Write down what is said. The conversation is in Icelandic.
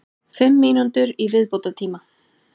Fimm mínútur í viðbótartíma?